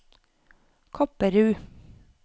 Kopperud